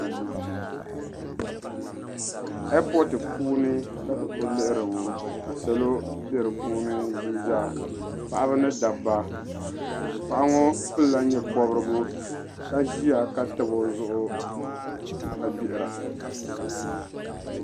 Epooti puuni la ti kuli lihiri ŋɔ salo be di puuni zaa paɣaba mini dabba paɣa ŋɔ pilila nyɛpobrigu ka ʒia ka tabi o zuɣu ka gbihira.